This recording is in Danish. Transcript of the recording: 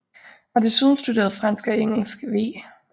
Har desuden studeret fransk og engelsk v